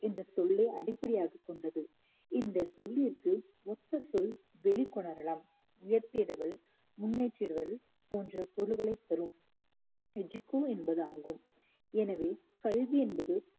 என்ற சொல்லை அடிப்படையாகக் கொண்டது இந்த சொல்லிற்கு ஒத்த சொல் வெளிக்கொணரலாம் உயர்த்திடுதல் முன்னேற்றிடுதல் போன்ற பொருள்களை தரும் educo என்பதாகும் எனவே கல்வி என்பது